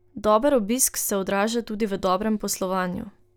Dober obisk se odraža tudi v dobrem poslovanju.